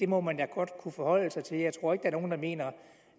må man da godt kunne forholde sig til jeg tror ikke der er nogle der mener